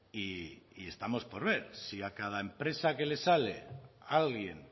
y estamos por ver si a cada empresa que le sale alguien